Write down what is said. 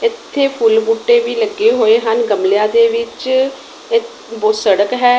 ਇੱਥੇ ਫੁੱਲ ਬੂਟੇ ਵੀ ਲੱਗੇ ਹੋਏ ਹਨ ਗਮਲੇਯਾਂ ਦੇ ਵਿੱਚ ਏ ਬੋ ਸੜਕ ਹੈ।